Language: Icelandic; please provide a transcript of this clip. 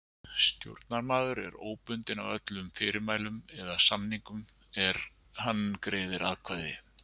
Stjórnarmaður er óbundinn af öllum fyrirmælum eða samningum er hann greiðir atkvæði.